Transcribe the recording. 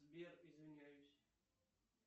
сбер извиняюсь